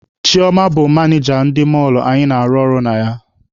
Chioma bụ manịja ndị mọlụ anyị na-arụ ọrụ na ya.